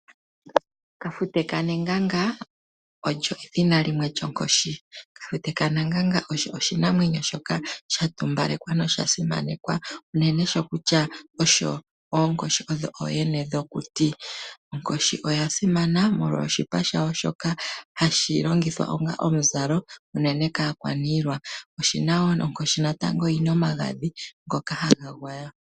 Kafute kaNeganga olyo edhina lyimwe lyonkoshi. Kafute kaNeganga osho oshinamwenyo shoka sha tumbalekwa noshasimanekwa uunene sho kutya, oonkoshi odho ooyene yokuti. Onkoshi oya simana molwa oshipa shawo shoka hashi longithwa ongaa omuzalo uunene kaakwaniilwa. Onkoshi natango oyi na omagadhi ngoka ha ga gwaya.